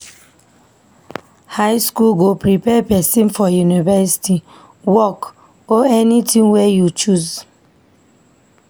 High school go prepare pesin for university, work, or anything wey you choose.